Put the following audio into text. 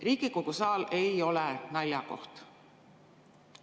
" Riigikogu saal ei ole naljakoht.